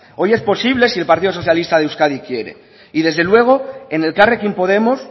hoy es posible si el partido socialista de euskadi quiere y desde luego en elkarrekin podemos